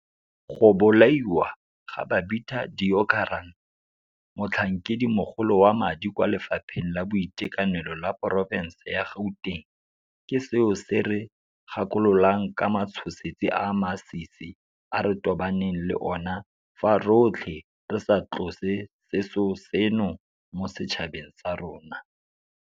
Go bolaiwa ga Babita Deokaran, motlhankedimogolo wa madi kwa Lefapheng la Boitekanelo la porofense ya Gauteng, ke seo se re gakololang ka matshosetsi a a masisi a re tobaneng le ona fa rotlhe re sa tlose seso seno mo setšhabeng sa rona.